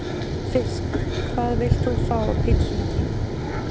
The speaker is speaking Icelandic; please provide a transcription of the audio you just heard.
fisk Hvað vilt þú fá á pizzuna þína?